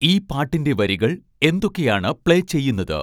ഈ പാട്ടിന്റെ വരികൾ എന്തൊക്കെയാണ് പ്ലേ ചെയ്യുന്നത്